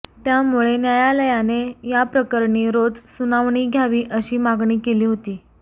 त्यामुळे न्यायालयाने याप्रकरणी रोज सुनावणी घ्यावी अशी मागणी केली होती